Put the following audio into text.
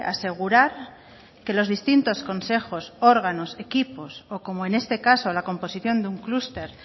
asegurar que los distintos consejos órganos equipos o como en este caso la composición de un clúster